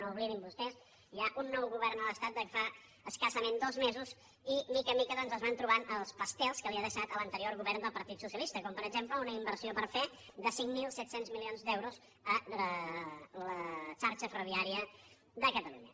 no ho oblidin vostès hi ha un nou govern a l’estat des de fa escassament dos mesos i de mica en mica doncs es van trobant els pastels que li ha deixat l’anterior govern del partit socialista com per exemple una inversió per fer de cinc mil set cents milions d’euros a la xarxa ferroviària de catalunya